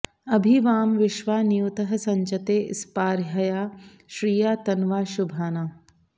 अभि वां विश्वा नियुतः सचन्ते स्पार्हया श्रिया तन्वा शुभाना